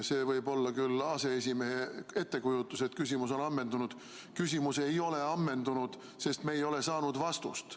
See võib olla küll aseesimehe ettekujutus, et küsimus on ammendunud, kuid küsimus ei ole ammendunud, sest me ei ole saanud vastust.